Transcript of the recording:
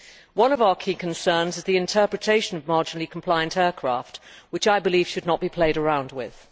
One of our key concerns is the interpretation of marginally compliant aircraft, which I believe should not be played around with.